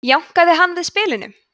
jánkaði hann við spilinu